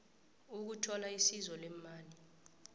ukuthola isizo leemali